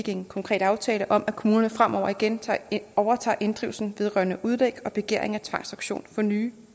en konkret aftale om at kommunerne fremover igen overtager inddrivelsen vedrørende udlæg og begæring af tvangsauktion for nye